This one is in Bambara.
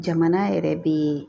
Jamana yɛrɛ be